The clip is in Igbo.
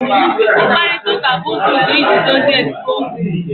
mkparita uka bu uzo udo iji dozie esemokwu